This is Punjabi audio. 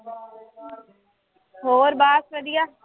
ਹੋਰ ਬਸ ਵਧੀਆ।